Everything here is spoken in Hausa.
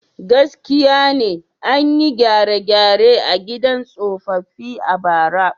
Gaskiya ne, an yi gyare-gyare a gidan tsofaffi a bara.